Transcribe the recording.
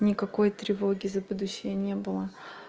никакой тревоги за будущее не было